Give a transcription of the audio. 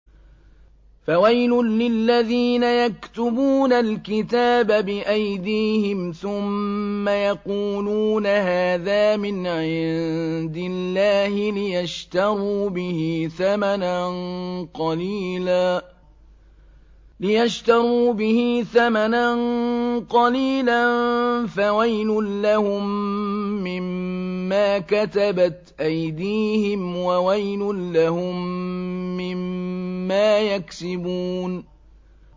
فَوَيْلٌ لِّلَّذِينَ يَكْتُبُونَ الْكِتَابَ بِأَيْدِيهِمْ ثُمَّ يَقُولُونَ هَٰذَا مِنْ عِندِ اللَّهِ لِيَشْتَرُوا بِهِ ثَمَنًا قَلِيلًا ۖ فَوَيْلٌ لَّهُم مِّمَّا كَتَبَتْ أَيْدِيهِمْ وَوَيْلٌ لَّهُم مِّمَّا يَكْسِبُونَ